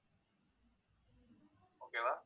okay வா